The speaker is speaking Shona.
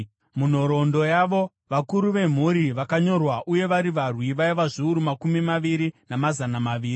Munhoroondo yavo, vakuru vemhuri vakanyorwa uye vari varwi vaiva zviuru makumi maviri namazana maviri.